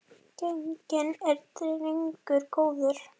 Genginn er drengur góður.